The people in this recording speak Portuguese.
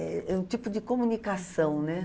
É é um tipo de comunicação, né?